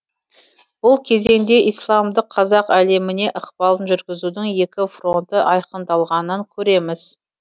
бұл кезеңде исламдық қазақ әлеміне ықпалын жүргізудің екі фронты айқындалғанын көреміз